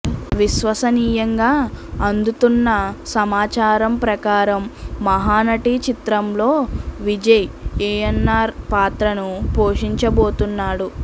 విశ్వసనీయంగా అందుతున్న సమాచారం ప్రకారం మహానటి చిత్రంలో విజయ్ ఏయన్నార్ పాత్రను పోషించబోతున్నాడు